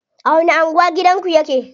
A wani anguwa gidanku yake?